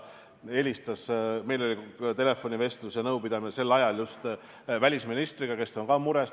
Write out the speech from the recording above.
Mul oli just sel ajal telefonivestlus ja -nõupidamine välisministriga, kes on ka mures.